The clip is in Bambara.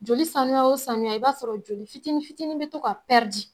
Joli sanuya o sanuya i b'a sɔrɔ joli fitinin fitinin be to ka pɛridi